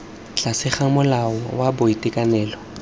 tlase ga molao wa boitekanelo